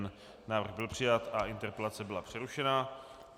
Návrh byl přijat a interpelace byla přerušena.